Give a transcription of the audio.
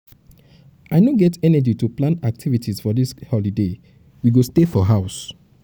um i no get energy to plan activities for dis holiday we go um stay for house.